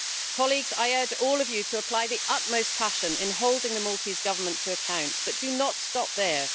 Colleagues, I urge all of you to apply the utmost passion in holding the Maltese Government to account, but do not stop there.